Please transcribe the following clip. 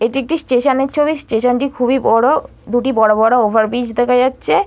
এটি একটি স্টেশন -এর ছবি স্টেশন -টি খুবই বড় দুটি বড় বড় ওভারব্রিজ দেখা যাচ্ছে।